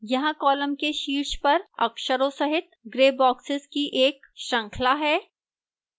यहां column के शीर्ष पर अक्षरों सहित grey boxes की एक श्रृंखला है